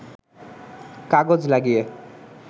কাগজ লাগিয়ে